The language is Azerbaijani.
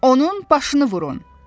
Onun başını vurun!